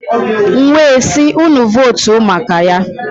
M wee sị, unu votu maka Ya.